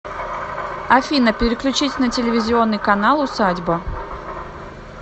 афина переключить на телевизионный канал усадьба